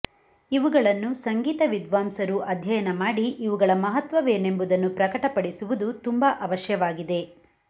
ಇವುಗಳನ್ನು ಸಂಗೀತ ವಿದ್ವಾಂಸರು ಅಧ್ಯಯನಮಾಡಿ ಇವುಗಳ ಮಹತ್ವವೇನೆಂಬುದನ್ನು ಪ್ರಕಟಪಡಿಸುವುದು ತುಂಬ ಅವಶ್ಯವಾಗಿದೆ